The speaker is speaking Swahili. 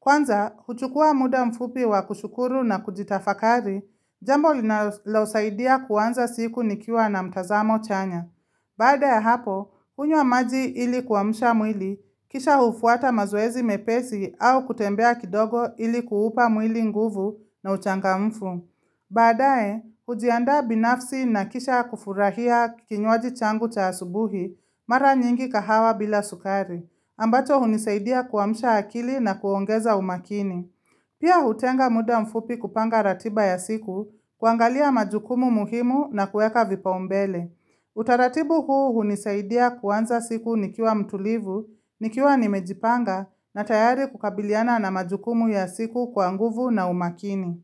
Kwanza, huchukua muda mfupi wa kushukuru na kujitafakari, jambo linalosaidia kuwanza siku nikiwa na mtazamo chanya. Baada ya hapo, hunywa maji ili kuamusha mwili, kisha hufuata mazoezi mepesi au kutembea kidogo ili kuupa mwili nguvu na uchangamfu. Baadae, hujianda binafsi na kisha kufurahia kinywaji changu cha asubuhi mara nyingi kahawa bila sukari ambacho hunisaidia kuamsha akili na kuongeza umakini Pia hutenga muda mfupi kupanga ratiba ya siku kuangalia majukumu muhimu na kuweka vipaumbele Utaratibu huu hunisaidia kuanza siku nikiwa mtulivu, nikiwa nimejipanga na tayari kukabiliana na majukumu ya siku kwa nguvu na umakini.